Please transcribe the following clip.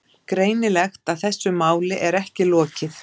Greinilegt að þessu máli er ekki lokið.